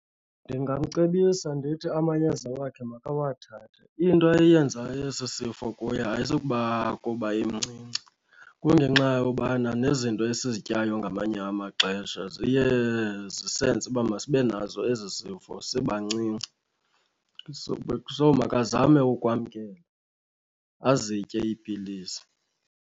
Ndingamcebisa ndithi amayeza wakhe makawathathe. Into eyenza esi sifo kuye ayisukuba kuba emncinci, kungenxa yobana nezinto esizityayo ngamanye amaxesha ziye zisenze uba masibe nazo ezi zifo sibancinci. So makazame ukwamkela azitye iipilisi.